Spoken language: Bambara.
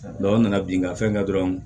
an nana bin ka fɛn kɛ dɔrɔn